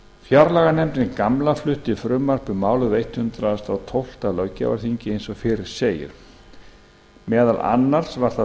fjárlaganefndin gamla flutti frumvarp um málið á hundrað og tólfta löggjafarþingi eins og fyrr segir meðal annars var það flutt